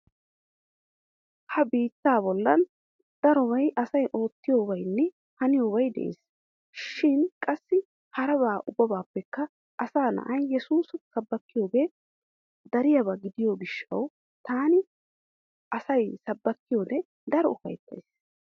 Ha biittaa bollan darobay asay oottiyobaynne haniyobay de'es. Shin qassi haraba ubbabaappekka asa na'i yeesuusa sabbakiyoge dariyaba gidiyo gishshawu taani asay sabbakiyode daro ufayttays.